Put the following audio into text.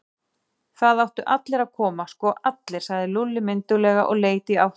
Það áttu allir að koma, sko allir, sagði Lúlli mynduglega og leit í áttina að